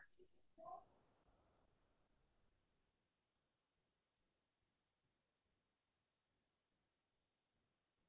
মোৰ প্ৰিয় চিনেমা আছে মানে মই hindi চিনেমা চিনেমা এখন চাই বহুতে ভাল পালো বুলি